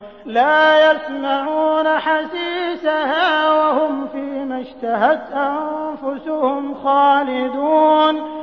لَا يَسْمَعُونَ حَسِيسَهَا ۖ وَهُمْ فِي مَا اشْتَهَتْ أَنفُسُهُمْ خَالِدُونَ